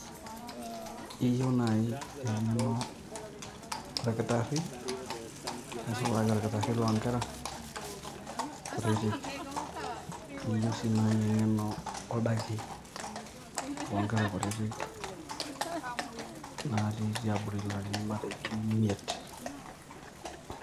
Iyieu naaji eng`eno olkitarri nisulaki olkitarri loo nkera kutitik. Niyieu sii naaji eng`eno oldaki loo nkera kutitik natii tiabori larin matejo imeit.